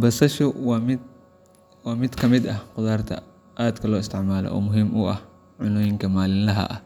Basasha waa mid ka mid ah khudaarta aadka loo isticmaalo oo muhiim u ah cunnooyinka maalinlaha ah.